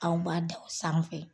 Aw ma da o sanfɛ.